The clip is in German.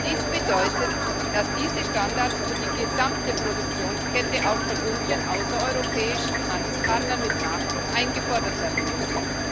Dies bedeutet, dass diese Standards für die gesamte Produktionskette auch von unseren außereuropäischen Handelspartnern mit Nachdruck eingefordert werden müssen.